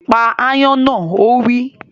Pa ááyán náà! Ó wí